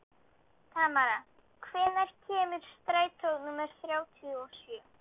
Tamara, hvenær kemur strætó númer þrjátíu og sjö?